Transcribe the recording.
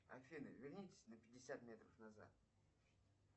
афина вернитесь на пятьдесят метров назад